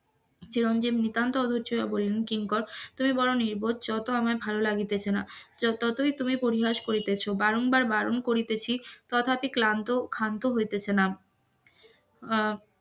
চিরঞ্জীব নিতান্ত অধৈর্য হইয়া বলিলেন কিঙ্কর তুমি বড় নির্বোধ যাও তো আমার ভালো লাগিতেছে না. ততই তুমি পরিহাস করিতেছ বারংবার বারণ করিতেছি কথা ক্লান্ত খান্ত হইতেছে না, আহ